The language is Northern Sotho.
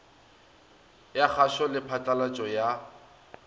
ya kgašo le phatlalatšo ya